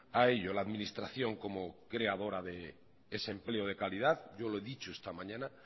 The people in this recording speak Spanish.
a ello la administración como creadora de ese empleo de calidad yo lo he dicho esta mañana